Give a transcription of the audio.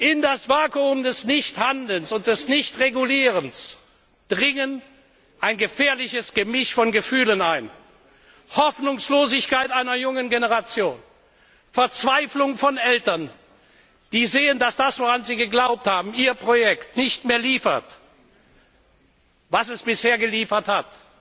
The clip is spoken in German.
In das Vakuum des Nichthandelns und des Nichtregulierens dringt ein gefährliches Gemisch von Gefühlen ein Hoffnungslosigkeit einer jungen Generation, Verzweiflung von Eltern, die sehen, dass das, woran sie geglaubt haben, ihr Projekt, nicht mehr liefert, was es bisher geliefert hat.